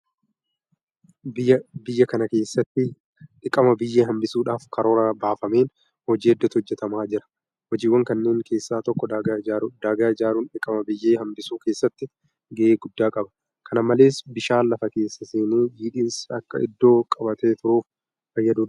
Biyya kana keessatti dhiqama biyyee hanbisuudhaaf karoora baafameen hojii hedduutu hojjetamaa jira. Hojiiwwan kanneen keessaa tokko daagaa ijaaruudha. Daagaa ijaaruun dhiqama biyyee hanbisuu keessatti gahee guddaa qaba. Kana malees bishaan lafa keessa seenee jiidhinsi akka iddoo qabatee turuuf fayyaduu danda'a.